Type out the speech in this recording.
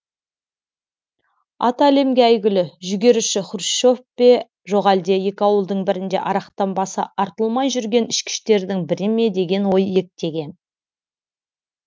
аты әлемге әйгілі жүгеріші хрущев пе жоқ әлде екі ауылдың бірінде арақтан басы артылмай жүрген ішкіштердің бірі ме деген ой иектеген